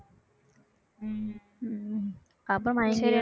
அப்ப